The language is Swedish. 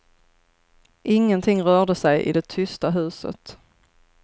Ingenting rörde sig i det tysta huset.